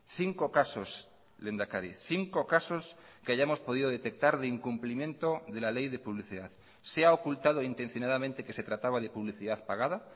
cinco casos lehendakari cinco casos que hayamos podido detectar de incumplimiento de la ley de publicidad se ha ocultado intencionadamente que se trataba de publicidad pagada